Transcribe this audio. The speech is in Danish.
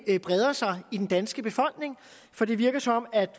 breder sig i den danske befolkning for det virker som om at